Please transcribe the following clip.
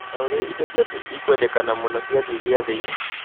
Na ũrĩa indo ciaku ikwendekana mũno ciathiĩ giathĩ-inĩ